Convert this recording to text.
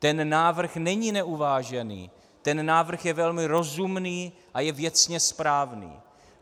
Ten návrh není neuvážený, ten návrh je velmi rozumný a je věcně správný.